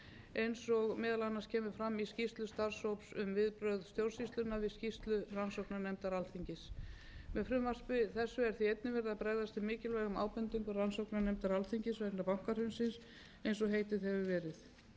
eins og meðal annars kemur fram í skýrslu starfshóps um viðbrögð stjórnsýslunnar við skýrslu rannsóknarnefndar alþingis með frumvarpi þessu er því einnig verið að bregðast við mikilvægum ábendingum rannsóknarnefndar alþingis vegna bankahrunsins eins og heitið hefur verið þær breytingar á